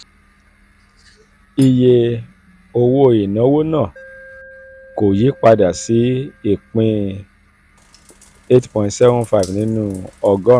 um iye um owó ìnáwó náà um kò yí padà sí ìpín eight point seven five nínú ọgọ́rùn-ún.